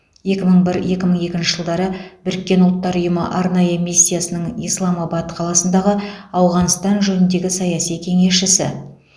екі мың бір екі мың екінші жылдары біріккен ұлттар ұйымы арнайы миссиясының исламабад қаласындағы ауғанстан жөніндегі саяси кеңесшісі